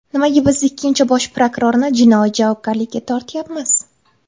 Nimaga biz ikkinchi Bosh prokurorni jinoiy javobgarlikka tortyapmiz?